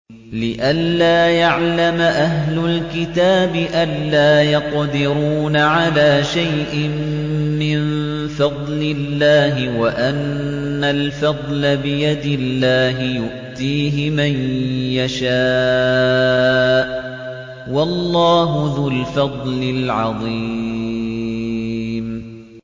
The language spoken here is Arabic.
لِّئَلَّا يَعْلَمَ أَهْلُ الْكِتَابِ أَلَّا يَقْدِرُونَ عَلَىٰ شَيْءٍ مِّن فَضْلِ اللَّهِ ۙ وَأَنَّ الْفَضْلَ بِيَدِ اللَّهِ يُؤْتِيهِ مَن يَشَاءُ ۚ وَاللَّهُ ذُو الْفَضْلِ الْعَظِيمِ